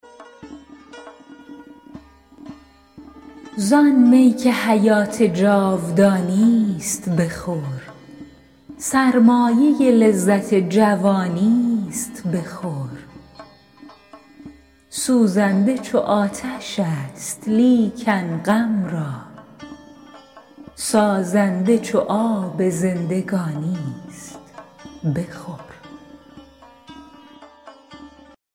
زآن می که حیات جاودانیست بخور سرمایه لذت جوانی است بخور سوزنده چو آتش است لیکن غم را سازنده چو آب زندگانی است بخور